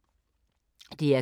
DR K